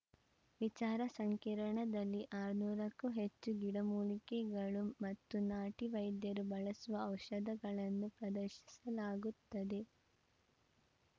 ವಿಚಾರ ಸಂಕಿರಣದಲ್ಲಿ ಆರುನೂರ ಕ್ಕೂ ಹೆಚ್ಚು ಗಿಡಮೂಲಿಕೆಗಳು ಮತ್ತು ನಾಟಿ ವೈದ್ಯರು ಬಳಸುವ ಔಷಧಗಳನ್ನು ಪ್ರದರ್ಶಿಸಲಾಗುತ್ತದೆ